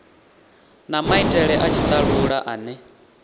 na maitele a tshitalula ane